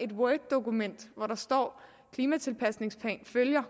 et worddokument hvor der står klimatilpasningsplan følger